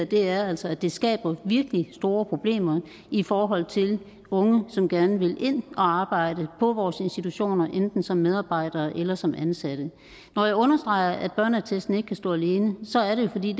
det her altså at det skaber virkelig store problemer i forhold til unge som gerne vil ind og arbejde på vores institutioner enten som frivillige medarbejdere eller som ansatte når jeg understreger at børneattesten ikke kan stå alene så er det jo fordi